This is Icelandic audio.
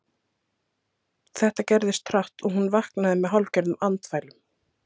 Þetta gerðist hratt og hún vaknaði með hálfgerðum andfælum.